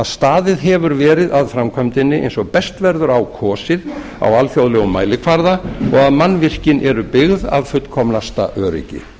staðið hefur verið að framkvæmdinni eins og best verður á kosið á alþjóðlegum mælikvarða og að mannvirkin eru byggð af fullkomnasta öryggi